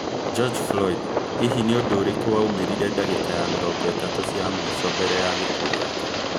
Gorge Floyd, hini nĩ ũndũ ũrĩkũ waumĩrire ndagĩka ya mĩrongo ĩtatũ cia mũico mbere ya gĩkuo gĩake?